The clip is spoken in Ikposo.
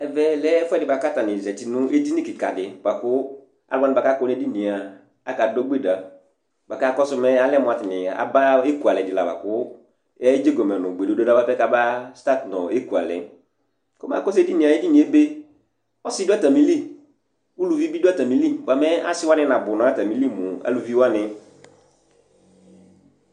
Ɛʋɛ lɛ ɛfuɛdi buaka aluwa ka akɔ né édiniă aka dogbéda Ba ka akɔsu mu aba ékualɛ dila buakuedzégomin nu gbédoda bapɛ kama stat nu ékualɛ Komɛ akɔsu édoynié ébé, ɔsi du atamili, ʊluʋi bi du atamili bia mɛ asiwani na bu nu atamili mu aluʋiwani